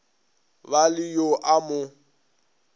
ba le yo a mo